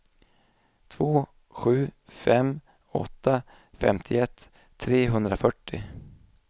två sju fem åtta femtioett trehundrafyrtio